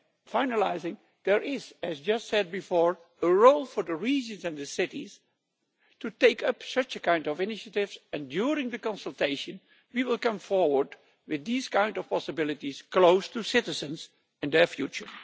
Finally, there is as I just said before a role for the regions and the cities to take up such a kind of initiative, and during the consultation we will come forward with these kind of possibilities close to citizens and their future.